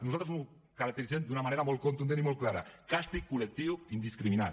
nosaltres ho caracteritzem d’una manera molt contundent i molt clara càstig col·lectiu indiscriminat